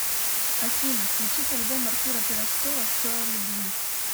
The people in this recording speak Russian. афина включить альбом артура пирожкова все о любви